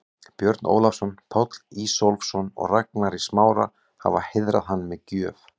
Björn Ólafsson, Páll Ísólfsson og Ragnar í Smára, hafa heiðrað hann með gjöf.